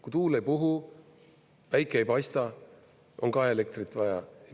Kui tuul ei puhu, päike ei paista, on ka elektrit vaja.